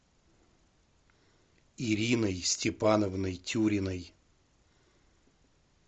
ириной степановной тюриной